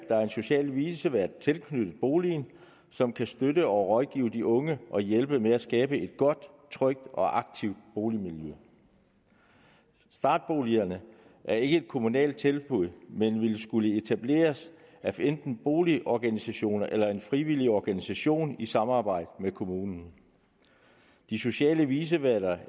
er en social vicevært tilknyttet boligen som kan støtte og rådgive de unge og hjælpe med at skabe et godt trygt og aktivt boligmiljø startboligejerne er ikke et kommunalt tilbud men ville skulle etableres af enten boligorganisationer eller af frivillige organisationer i samarbejde med kommunen de sociale viceværter